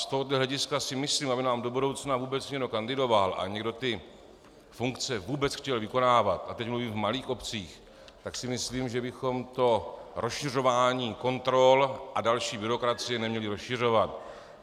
Z tohoto hlediska si myslím, aby nám do budoucna vůbec někdo kandidoval a někdo ty funkce vůbec chtěl vykonávat, a teď mluvím v malých obcích, tak si myslím, že bychom to rozšiřování kontrol a další byrokracie neměli rozšiřovat.